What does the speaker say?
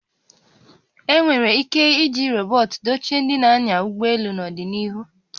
E nwere ike iji rọbọt dochie ndị na-anya ụgbọ elu n'ọdịnihu